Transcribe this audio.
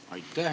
Aitäh!